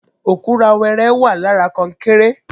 Òkúra wẹrẹ wà lára konkéré